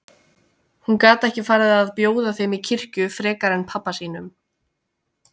Hún gat ekki farið að bjóða þeim í kirkju frekar en pabba sínum.